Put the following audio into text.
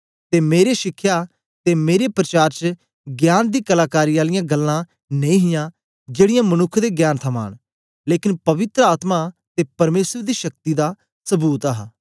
ते मेरे शिखया ते मेरे प्रचार च ज्ञान दी कलाकारी आलियां गल्लां नेई हियां जेड़ीयां मनुक्ख दे ज्ञान थमां न लेकन पवित्र आत्मा ते परमेसर दी शक्ति दा सबूत हा